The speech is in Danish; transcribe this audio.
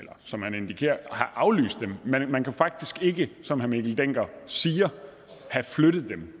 eller som han indikerer have aflyst dem men man kunne faktisk ikke som herre mikkel dencker siger have flyttet dem